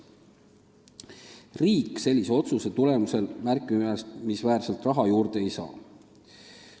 Riik sellise otsuse tulemusel märkimisväärselt raha juurde ei saa.